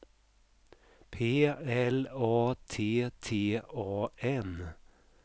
P L A T T A N